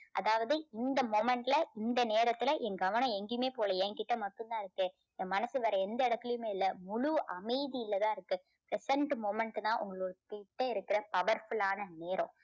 அதாவது இந்த moment ல இந்த நேரத்துல என் கவனம் எங்கேயுமே போகல. என்கிட்ட மட்டும் தான் இருக்கு என் மனசு வேற எந்த இடத்திலையுமே இல்ல முழு அமைதியில தான் இருக்கு. present moment தான் உங்க கிட்ட இருக்க powerful லான நேரம்.